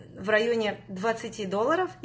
в районе двадцати долларов